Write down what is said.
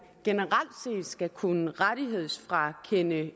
generelt skal kunne frakende